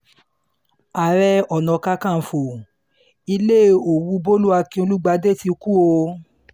ààrẹ ọ̀nàkàkànfọ́ ilé òwú bólú akín-olùgbàdé ti kú o